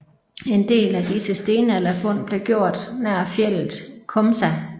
En del af disse stenalderfund blev gjort nær fjeldet Komsa